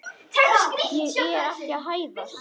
Ég er ekki að hæðast.